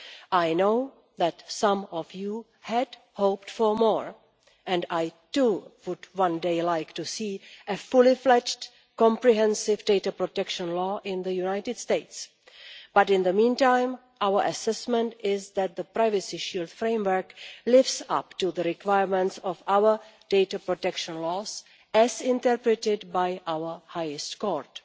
I know that some of you had hoped for more, and I too would one day like to see a fully fledged comprehensive data protection law in the United States, but in the meantime, our assessment is that the privacy issue of framework lives up to the requirements of our data protection laws, as interpreted by our highest court.